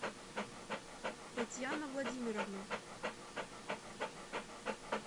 татьяна владимировна